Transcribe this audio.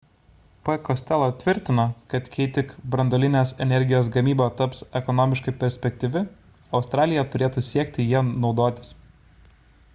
p costello tvirtino kad kai tik branduolinės energijos gamyba taps ekonomiškai perspektyvi australija turėtų siekti ja naudotis